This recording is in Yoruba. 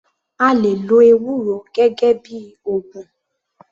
A lè lo ewúro gẹ́gẹ́ bíi ògùn.